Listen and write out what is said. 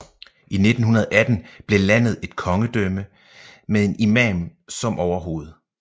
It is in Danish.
I 1918 blev landet et kongedømme med en imam som overhoved